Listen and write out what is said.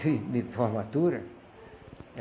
Sim, de formatura.